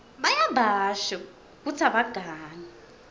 bayabasho kutsi abagangi